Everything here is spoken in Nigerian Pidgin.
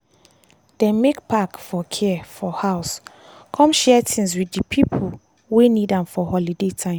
dem make pack for care for house come share things with di pipo wey need am for holiday time.